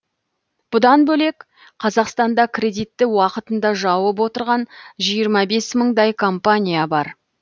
бұдан бөлек қазақстанда кредитті уақытында жауып отырған жиырма бес мыңдай компания бар